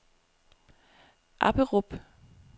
Apperup